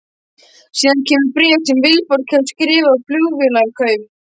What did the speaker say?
Síðan kemur bréf sem Vilborg hefur skrifað á Flugvélarkaup?